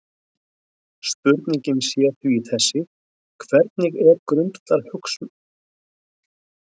Spurningin sé því þessi: Hvernig er grundvallarhagsmunum þjóðarinnar best gætt?